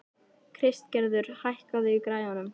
Kristgerður, hækkaðu í græjunum.